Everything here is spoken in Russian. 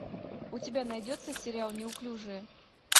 у тебя найдется сериал неуклюжая